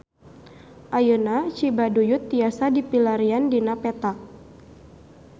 Ayeuna Cibaduyut tiasa dipilarian dina peta